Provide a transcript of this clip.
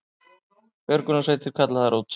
Björgunarsveitir kallaðar út